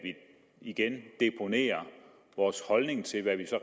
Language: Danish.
igen deponerer vores holdning til hvad vi så